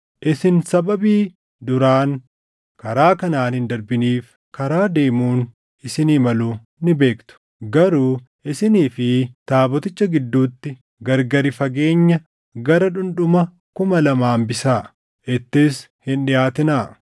Isin sababii duraan karaa kanaan hin darbiniif, karaa deemuun isinii malu ni beektu. Garuu isinii fi taaboticha gidduutti gargari fageenya gara dhundhuma kuma lama hambisaa; ittis hin dhiʼaatinaa.”